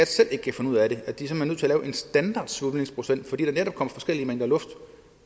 selv kan finde ud af det og en standardsvulmningsprocent fordi der netop kommer forskellige mængder luft